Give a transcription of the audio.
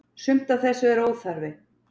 Sumt af þessu er óþarfi.